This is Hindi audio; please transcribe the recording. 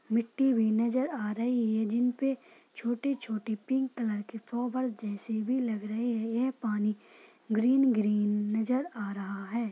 मिट्टी भी नजर आ रही है जिनपे छोटे छोटे पिंक कलर के फोबल्स जेसे भी लग रहा है ये पानी ग्रीन ग्रीन नजर आ रहा है।